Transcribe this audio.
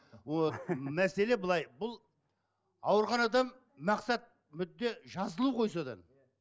вот мәселе былай бұл ауырған адам мақсат мүдде жазылу ғой содан